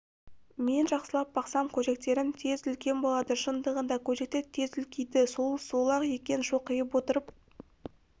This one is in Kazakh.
мен жақсылап бақсам көжектерім тез үлкен болады шындығында көжектер тез үлкейді сол сол-ақ екен шоқиып отырып